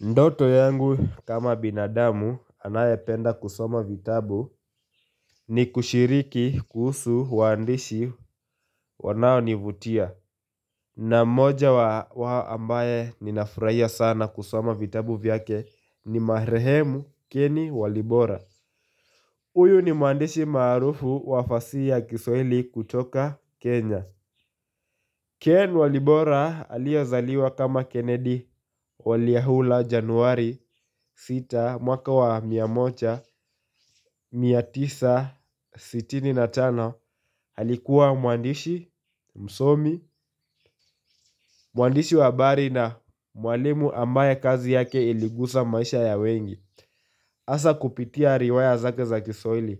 Ndoto yangu kama binadamu anayependa kusoma vitabu ni kushiriki kuhusu waandishi wanaonivutia. Na mmoja wa ambaye ninafurahia sana kusoma vitabu vyake ni maheremu keni walibora. Huyu ni mwandishi maarufu wa fasihi ya kiswahili kutoka Kenya. Ken Walibora aliyezaliwa kama Kennedy waliahula januari 6 mwaka wa mia moja 1965 alikuwa mwandishi msomi, mwandishi wa habari na mwalimu ambaye kazi yake iligusa maisha ya wengi Hasa kupitia riwaya zake za kiswahili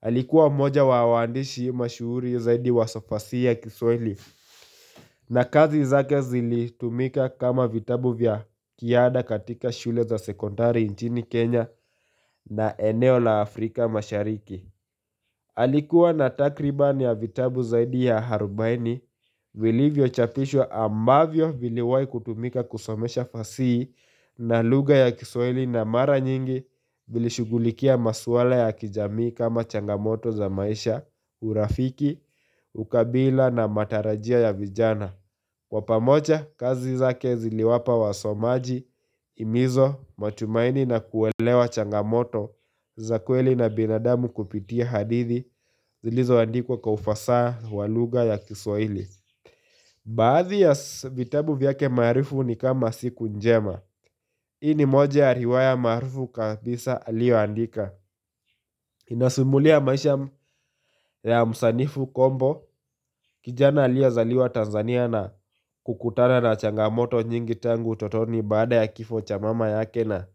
Alikuwa mmoja wa waandishi mashuhuri zaidi wa fasihi ya kiswahili na kazi zake zilitumika kama vitabu vya kiada katika shule za sekondari nchini Kenya na eneo la Afrika mashariki. Alikuwa na takribani ya vitabu zaidi ya Harubaini vilivyochapishwa ambavyo viliwahi kutumika kusomesha fasihi na lugha ya kiswahili na mara nyingi vilishughulikia maswala ya kijami kama changamoto za maisha urafiki, ukabila na matarajio ya vijana. Kwa pamoja, kazi zake ziliwapa wasomaji, himizo, matumaini na kuelewa changamoto, za kweli na binadamu kupitia hadithi, zilizoandikuwa kwa ufasaha wa lugha ya kiswaili. Baadhi ya vitabu vyake maarufu ni kama siku njema. Hii ni moja ya riwaya maarufu kabisa aliyoandika. Inasimulia maisha ya msanifu kombo kijana aliyezaliwa Tanzania na kukutana na changamoto nyingi tangu utotoni baada ya kifo cha mama yake na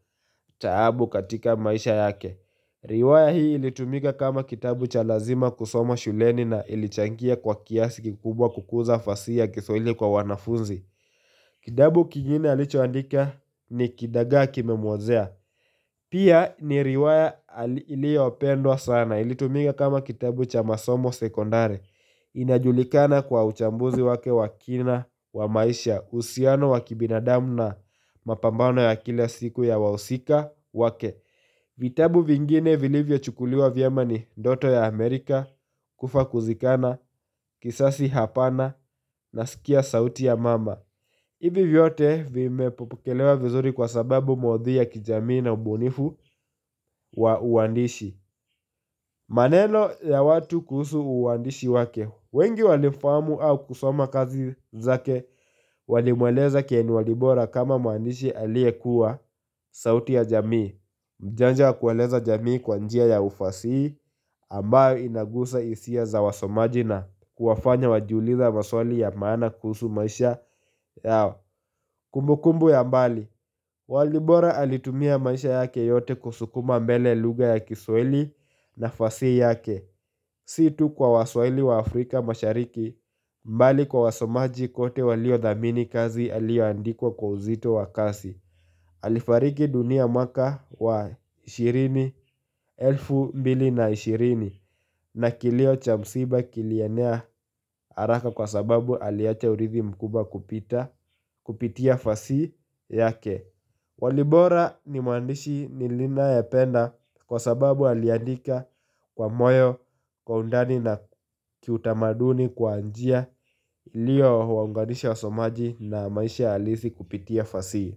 taabu katika maisha yake. Riwaya hii ilitumika kama kitabu cha lazima kusoma shuleni na ilichangia kwa kiasi kikubwa kukuza fasihi ya kiswahili kwa wanafunzi. Kitabu kigine alichoandika ni kidagaa kimemuozea Pia ni riwaya iliyopendwa sana ilitumika kama kitabu cha masomo sekondari inajulikana kwa uchambuzi wake wa kina wa maisha uhusiano wa kibinadamu na mapambano ya kila siku ya wahusika wake vitabu vingine vilivyochukuliwa vyema ni ndoto ya Amerika kufa kuzikana, kisasi hapana nasikia sauti ya mama hivi vyote vimepokelewa vizuri kwa sababu maudhui ya kijamii na ubunifu wa uandishi maneno ya watu kuhusu uandishi wake wengi walifamu au kusoma kazi zake walimweleza Ken Walibora kama mwandishi aliyekuwa sauti ya jamii Mjanja wa kueleza jamii kwa njia ya ufasihi ambayo inagusa hisia za wasomaji na kuwafanya wajiulize maswali ya maana kuhusu maisha yao, kumbukumbu ya mbali Walibora alitumia maisha yake yote kusukuma mbele lugha ya kiswalhii na fasihi yake Si tu kwa waswahili wa Afrika mashariki bali kwa wasomaji kote waliothamini kazi aliyandika kwa uzito wa kasi Alifariki dunia mwaka wa elfu mbili na ishirini na kilio cha msiba kilienea haraka kwa sababu aliacha urithi mkubwa kupitia fasihi yake Walibora ni mwandishi ninayependa kwa sababu aliandika kwa moyo wa undani na kiutamaduni kwa njia iliyowaunganisha wasomaji na maisha halisi kupitia fasihi.